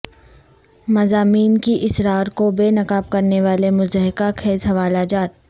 مضامین کی اسرار کو بے نقاب کرنے والے مضحکہ خیز حوالہ جات